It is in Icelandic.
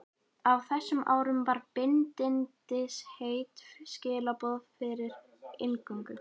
Á þessum árum var bindindisheit skilyrði fyrir inngöngu.